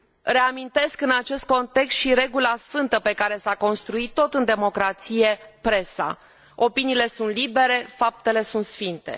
Reamintesc în acest context și regula sfântă pe care s a construit, tot în democrație, presa opiniile sunt libere, faptele sunt sfinte.